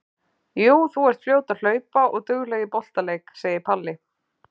Jú, þú ert fljót að hlaupa og dugleg í boltaleik, segir Palli.